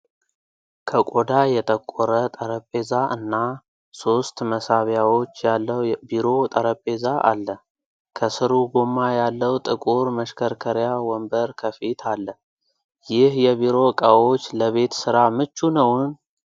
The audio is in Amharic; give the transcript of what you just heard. ከቆዳ የጠቆረ ጠረጴዛ እና ሶስት መሳቢያዎች ያለው ቢሮ ጠረጴዛ አለ። ከስሩ ጎማ ያለው ጥቁር መሽከርከሪያ ወንበር ከፊት አለ። ይህ የቢሮ እቃዎች ለቤት ሥራ ምቹ ነውን?